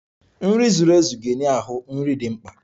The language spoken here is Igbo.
Nri zuru ezu ga-enye ahụ nri dị mkpa.